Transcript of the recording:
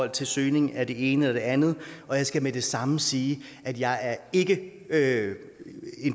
til søgning af det ene eller det andet og jeg skal med det samme sige at jeg ikke er en